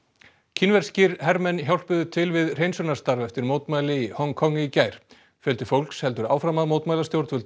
kínverskir hermenn hjálpuðu til við hreinsunarstarf eftir mótmæli í Hong Kong í gær fólks helsur áfram að mótmæla stjórnvöldum